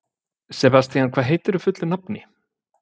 Sebastían, hvað heitir þú fullu nafni?